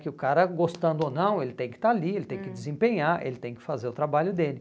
Que o cara, gostando ou não, ele tem que estar ali, hum, ele tem que desempenhar, ele tem que fazer o trabalho dele.